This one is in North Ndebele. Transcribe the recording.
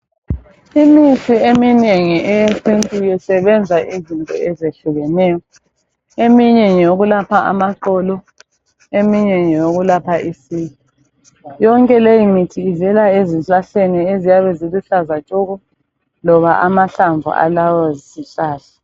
Imithi eminengi eyesintwini isebenza izinto ezehlukeneyo. Eminye ngeyokulapha amaqolo, eminye ngeyokulapha isiki. Yonke leyi mithi ivela ezihlahleni eziyabe ziluhlaza tshoko loba amahlamvu alawo zihlahla.